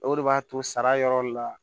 O de b'a to sara yɔrɔ la